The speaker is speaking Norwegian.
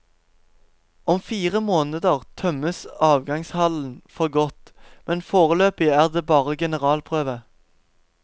Om fire måneder tømmes avgangshallen for godt, men foreløpig er det bare generalprøve.